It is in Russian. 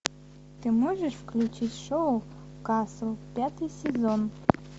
ты можешь включить шоу касл пятый сезон